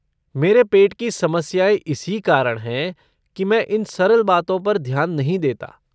मेरे पेट की समस्याएँ इसी कारण हैं कि मैं इन सरल बातों पर ध्यान नहीं देता।